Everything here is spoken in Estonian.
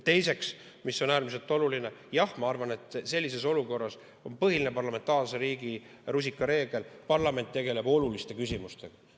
Teiseks, mis on äärmiselt oluline: jah, ma arvan, et sellises olukorras on põhiline parlamentaarse riigi rusikareegel, et parlament tegeleb oluliste küsimustega.